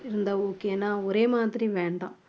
இருந்தா okay ஒரே மாதிரி வேண்டாம்